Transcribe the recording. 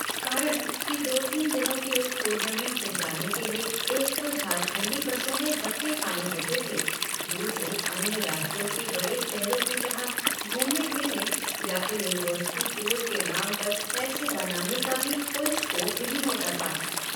कारण कि दो तीन दिनों के उस टूर्नामेंट में जाने के लिए एक तो झारखंडी बसों में धक्के खाने होते थे दूसरे, अन्य राज्यों के बड़े शहरों की तरह घूमने-फिरने या फिर यूनिवर्सिटी टूर के नाम पर पैसे बनाने का भी कोई स्कोप नहीं होता था।